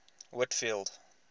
whitfield